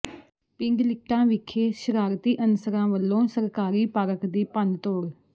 ਪਿੰਡ ਲਿਟਾਂ ਵਿਖੇ ਸ਼ਰਾਰਤੀ ਅਨਸਰਾਂ ਵੱਲੋਂ ਸਰਕਾਰੀ ਪਾਰਕ ਦੀ ਭੰਨਤੋੜ